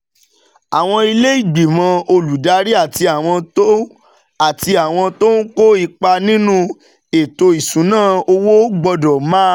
Àwọn ilé ìgbìmọ̀ olùdarí àti àwọn tó àti àwọn tó ń kó ipa nínú ètò ìṣúnná owó gbọ́dọ̀ máa